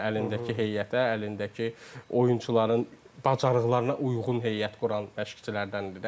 Yəni əlindəki heyətə, əlindəki oyunçuların bacarıqlarına uyğun heyət quran məşqçilərdəndir də.